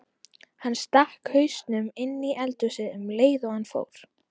Hann stakk hausnum inní eldhúsið um leið og hann fór.